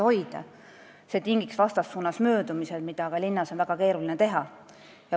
See tingiks möödumise vastassuunavööndis, mida on aga linnas väga keeruline teha.